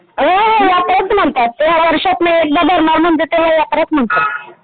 हो हो यात्राच म्हणतात वर्षातून एकदा भरणार म्हणजे त्याला यात्राच म्हणतात.